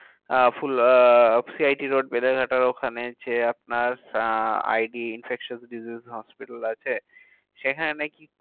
ah full uh C I T road বেলেঘাটার ওখানে যে আপনার uh I D infectious disease hospital আছে, সেখানে নাকি